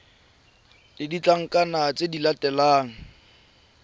le ditlankana tse di latelang